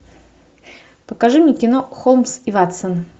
покажи мне кино холмс и ватсон